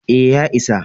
E, ya isa.